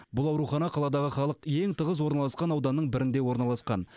бұл аурухана қаладағы халық ең тығыз орналасқан ауданның бірінде орналасқан